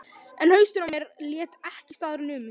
En hausinn á mér lét ekki staðar numið.